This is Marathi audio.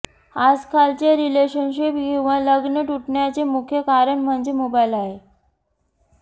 आजकालचे रिलेशनशिप किंवा लग्न तुटण्याचे मुख्य कारण म्हणजे मोबाईल आहे